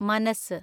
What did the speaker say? മനസ്